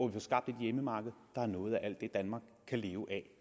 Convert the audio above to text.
vi får skabt et hjemmemarked der har noget af alt det danmark kan leve af